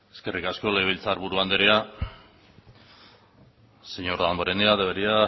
eskerrik asko legebiltzarburu anderea señor damborenea debería